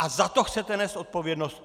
A za to chcete nést odpovědnost!